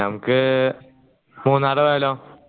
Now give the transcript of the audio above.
നമ്മക് മൂന്നാർ പോയാലോ